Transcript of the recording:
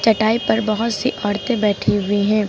चटाई पर बहुत सी औरतें बैठी हुई हैं।